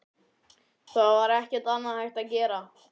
Það var ekkert annað hægt að gera.